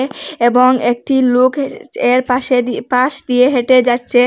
এবং একটি লোকের চে এর পাশে দিয়ে পাশ দিয়ে হেঁটে যাচ্চে।